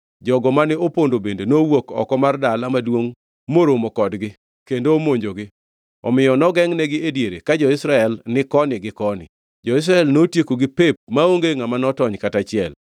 Jogo mane opondo bende nowuok oko mar dala maduongʼ moromo kodgi kendo omonjogi, omiyo nogengʼnegi e diere ka jo-Israel ni koni gi koni. Jo-Israel notiekogi pep maonge ngʼama notony kata achiel.